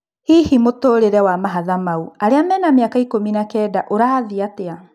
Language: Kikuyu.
Hihi mũtũrĩre wa mahatha mau arĩa rĩu mena mĩaka ikũmi na-kenda ũrathiĩ-atĩa?